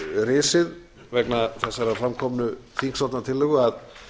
risið vegna þessar framkomnu þingsályktunartillögu að